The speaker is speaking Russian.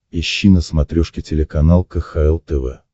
ищи на смотрешке телеканал кхл тв